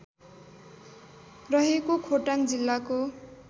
रहेको खोटाङ जिल्लाको